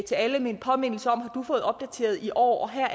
til alle med en påmindelse om har du fået opdateret i år og her